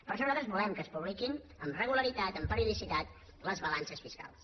per això nosaltres volem que es publiquin amb regularitat amb periodicitat les balances fiscals